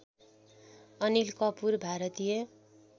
Anil Kapoor Bharatiya